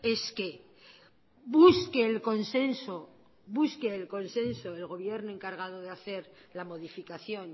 es que el gobierno encargado de hacer la modificación